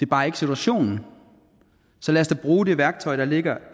bare ikke situationen så lad os da bruge det værktøj der ligger